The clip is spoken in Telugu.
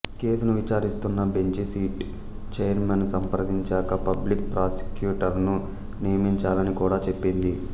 కేసును విచారిస్తున్న బెంచి సిట్ చైర్మన్ను సంప్రదించాక పబ్లిక్ ప్రాసెక్యూటరును నియమించాలని కూడా చెప్పింది